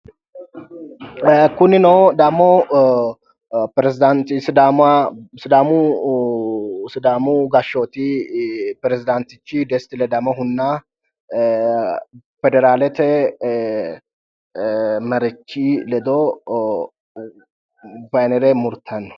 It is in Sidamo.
Kunino damo sidaamu gashooti peresdantich dest ledamohuna federalete maricho ledo baynere muritayino